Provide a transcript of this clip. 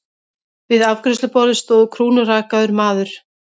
Við afgreiðsluborðið stóð krúnurakaður maður.